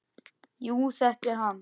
Jú, þetta er hann.